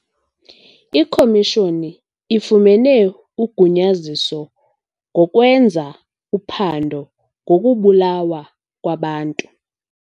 Ikhomishoni ifumene ugunyaziso ngokwenza uphando ngokubulawa kwabantu.